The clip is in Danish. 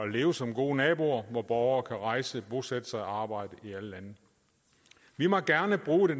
leve som gode naboer hvor borgere kan rejse og bosætte sig og arbejde i alle lande vi må gerne bruge det